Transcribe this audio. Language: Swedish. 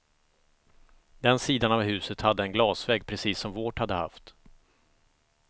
Den sidan av huset hade en glasvägg precis som vårt hade haft.